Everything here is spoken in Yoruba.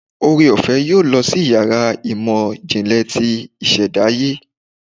oreofe yóò lọ sí iyàrá ìmọ jinle tí ìsèdáye